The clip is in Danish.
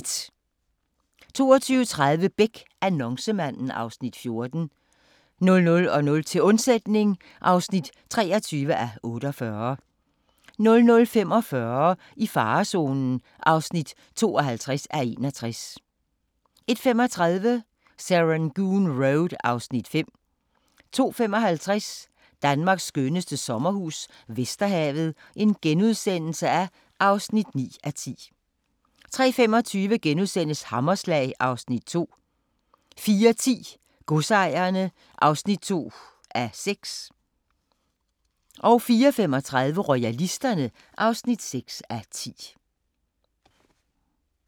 22:30: Beck: Annoncemanden (Afs. 14) 00:00: Til undsætning (23:48) 00:45: I farezonen (52:61) 01:35: Serangoon Road (Afs. 5) 02:55: Danmarks skønneste sommerhus - Vesterhavet (9:10)* 03:25: Hammerslag (Afs. 2)* 04:10: Godsejerne (2:8) 04:35: Royalisterne (6:10)